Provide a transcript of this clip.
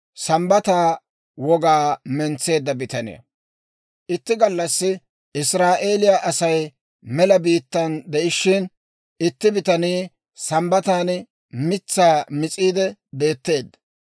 Itti gallassi Israa'eeliyaa Asay mela biittaa de'ishshin, itti bitanii Sambbatan mitsaa mis'iidde beetteedda.